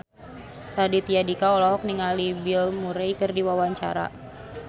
Raditya Dika olohok ningali Bill Murray keur diwawancara